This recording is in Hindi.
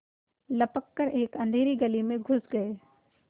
लपक कर एक अँधेरी गली में घुस गये